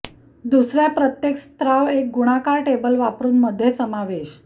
दुसऱ्या प्रत्येक स्त्राव एक गुणाकार टेबल वापरून मध्ये समावेश